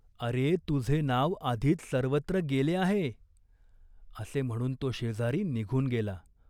"अरे, तुझे नाव आधीच सर्वत्र गेले आहे." असे म्हणून तो शेजारी निघून गेला.